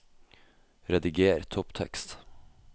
Rediger topptekst